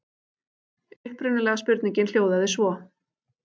Upprunalega spurningin hljóðaði svo: